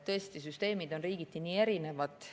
Tõesti, süsteemid on riigiti nii erinevad.